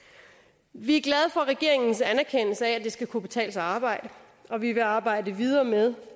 vi er glade for regeringens anerkendelse af at det skal kunne betale sig at arbejde og vi vil arbejde videre med